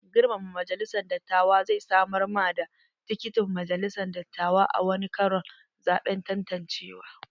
Girmama majalisan dattawa zai samar ma ka da tikitin majalisan dattawa a wani karon zaɓen tantancewa.